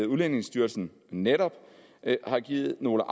udlændingestyrelsen netop har givet nogle